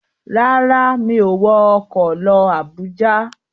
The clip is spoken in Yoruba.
Rárá, mi ò wọ ọkọ̀ lọ Àbújá.